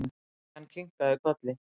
Christian kinkaði kolli.